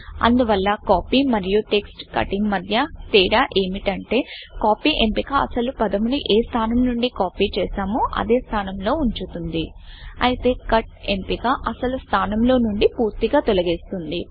అందువల్ల కాపీ మరియు text cutting మధ్య తేడా ఏమిటంటే కాపీ ఎంపిక అసలు పదమును ఏ స్థానం నుండి కాపీ చేసామో అదే స్థానం లో ఉంచుతుంది అయితే కట్ ఎంపిక అసలు స్థానంలో నుండి పూర్తిగా తొలగిస్తుంది